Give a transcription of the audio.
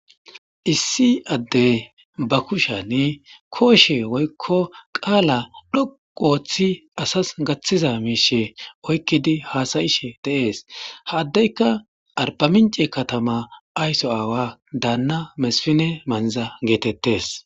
Issi addeyi baa kushshiyanne koshshe woyikko qala dhoqqu oththi asasi gaththiza mishshe oyikkidi hasa'ishshe de'ees.ha addeka arbaminche katama ayiso dana mesifine manza getteetes.